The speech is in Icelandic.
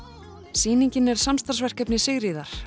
sýningin samstarfsverkefni Sigríðar